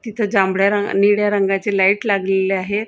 तिथं जांभळ्या रंगा निळ्या रंगाची लाईट लागलेली आहे.